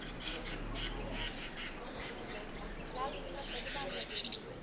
लाल किला कधी बंदला गेला